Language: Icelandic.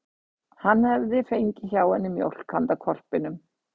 Hann hefði fengið hjá henni mjólk handa hvolpinum.